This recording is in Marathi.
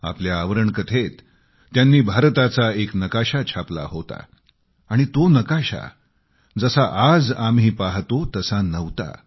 आपल्या आवरण कथेत त्यांनी भारताचा एक नकाशा छापला होता आणि तो नकाशा जसा आज आम्ही पाहतो तसा नव्हता